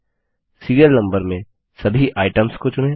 serial number में सभी items को चुनें